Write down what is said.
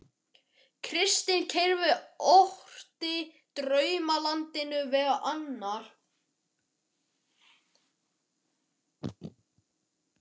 Kristinn Reyr orti í Draumalandinu meðal annars um